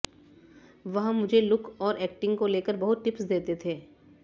वह मुझे लुक और ऐक्टिंग को लेकर बहुत टिप्स देते थे